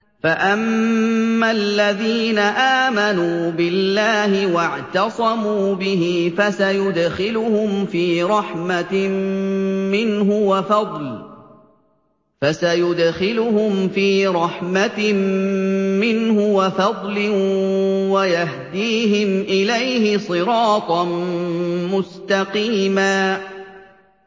فَأَمَّا الَّذِينَ آمَنُوا بِاللَّهِ وَاعْتَصَمُوا بِهِ فَسَيُدْخِلُهُمْ فِي رَحْمَةٍ مِّنْهُ وَفَضْلٍ وَيَهْدِيهِمْ إِلَيْهِ صِرَاطًا مُّسْتَقِيمًا